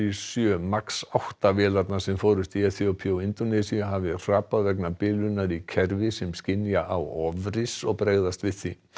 sjö Max átta vélarnar sem fórust í Eþíópíu og Indónesíu hafi hrapað vegna bilunar í kerfi sem skynja á ofris og bregðast við því